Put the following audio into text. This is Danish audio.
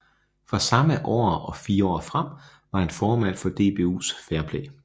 Fra samme år og fire år frem var han formand for DBUs Fair Play